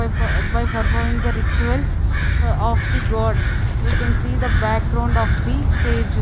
by by ferforming the rituals of the god we can see the background of the stage.